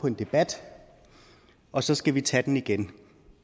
en debat og så skal vi tage den igen